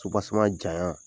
jaɲa